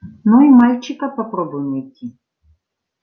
но и мальчика попробуй найти